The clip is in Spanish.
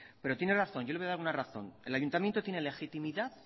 pero tiene razón yo le voy a dar una razón el ayuntamiento tiene legitimidad